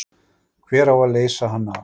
Hver á að leysa hann af?